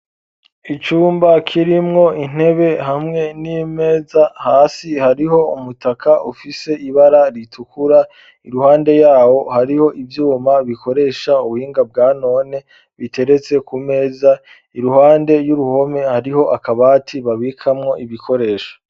Icumba kirimwo intebe hamwe n'imeza hasi hariho umutaka ufise ibara ritukura iruhande yawo hariho ivyuma bikoresha ubuhinga bwa none biteretse ku meza iruhande y'uruhome hariho akabati babikamwo ibikoresho.